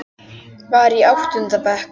Var í áttunda bekk.